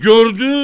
Di gördü?